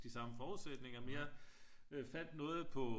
De samme forudsætninger mere øh fandt noget på